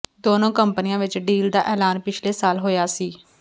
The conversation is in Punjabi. ਦੋਨੋਂ ਕੰਪਨੀਆਂ ਵਿੱਚ ਡੀਲ ਦਾ ਐਲਾਨ ਪਿਛਲੇ ਸਾਲ ਹੋਇਆ ਸੀ